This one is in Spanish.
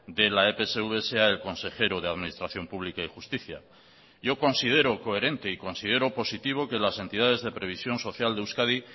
de la epsv sea el consejero de administración pública y justicia yo considero coherente y considero positivo que las entidades de previsión social de euskadi